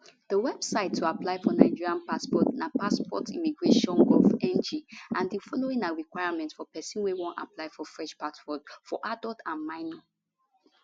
di website to apply for nigeria passport napassportimmigrationgovng and di following na requirements for person wey wan apply for fresh passport for adult and minor